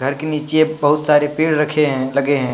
घर के नीचे बहुत सारे पेड़ रखे हैं लगे हैं।